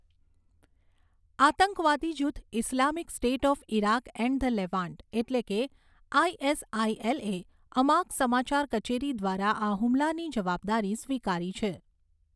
આતંકવાદી જૂથ Islamic State of Iraq and the Levant , એટલે કે આઈએસઆઈએલ એ અમાક સમાચાર કચેરી દ્વારા આ હુમલાની જવાબદારી સ્વીકારી છે.